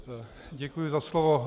Děkuji za slovo.